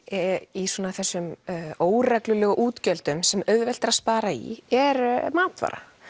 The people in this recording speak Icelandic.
í þessum óreglulegu útgjöldum sem auðvelt er að spara í er matvara